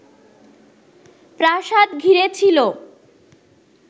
প্রাসাদ ঘিরে ছিল